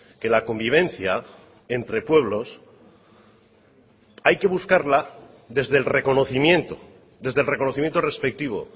que la convivencia entre pueblos hay que buscarla desde el reconocimiento desde el reconocimiento respectivo